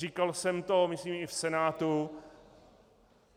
Říkal jsem to myslím i v Senátu.